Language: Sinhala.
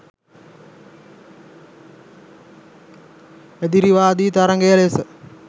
එදිරිවාදී තරඟය ලෙස